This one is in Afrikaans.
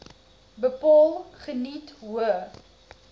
bepaal geniet hoë